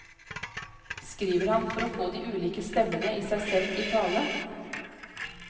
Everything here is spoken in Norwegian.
Skriver han for å få de ulike stemmene i seg selv i tale?